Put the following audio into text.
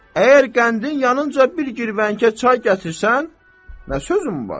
Əgər qəndin yanınca bir girvənkə çay gətirsən, nə sözüm var?